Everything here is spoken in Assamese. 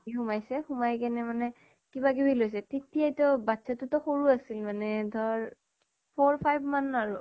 সোমাইছে, সোমাই কেনে মানে কিবা কিবি লৈছে। তেতিয়াই ত বাচ্ছাতো ত সৰু আছিল মানে ধৰ four five মান আৰু